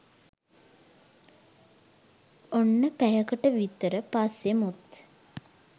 ඔන්න පැයකට විතර පස්සේ මුත්